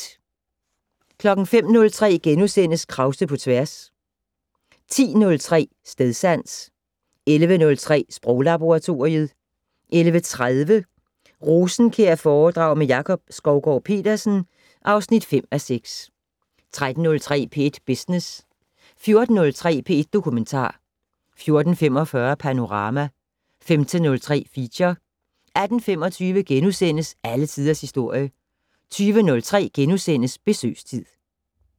05:03: Krause på tværs * 10:03: Stedsans 11:03: Sproglaboratoriet 11:30: Rosenkjærforedrag med Jakob Skovgaard-Petersen (5:6) 13:03: P1 Business 14:03: P1 Dokumentar 14:45: Panorama 15:03: Feature 18:25: Alle Tiders Historie * 20:03: Besøgstid *